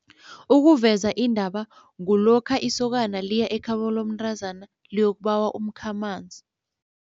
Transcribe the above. Ukuveza indaba kulokha isokana liya ekhabo lomntazana liyokubawa umkhamanzi.